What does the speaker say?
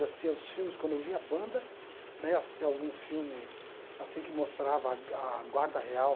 Eu assistia aos filmes, quando vi a banda, né, assistia a algum filme assim que mostrava a ga a guarda real...